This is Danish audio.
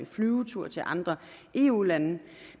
flyvetur til andre eu lande